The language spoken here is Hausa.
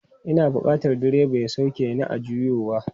Ina bukatan direba ya sauke ni a juyowa.